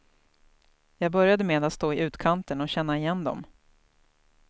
Jag började med att stå i utkanten och känna igen dem.